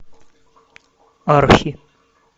архи